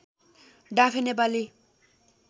डाँफे Nepali